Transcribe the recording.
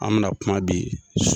An bɛna kuma bi